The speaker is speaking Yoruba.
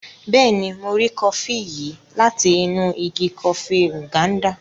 Béèni, Mo ri kọfi yìí láti inú ìgi kọfi Nganda